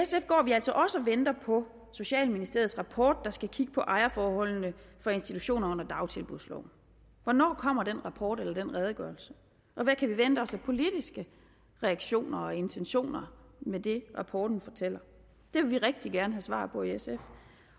så venter på socialministeriets rapport der skal kigge på ejerforholdene for institutioner under dagtilbudsloven hvornår kommer den rapport eller den redegørelse og hvad kan vi vente os af politiske reaktioner og intentioner med det rapporten fortæller det vil vi rigtig gerne have svar på i sf